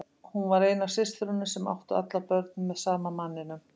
Hún var ein af systrunum sem áttu allar börn með sama manninum.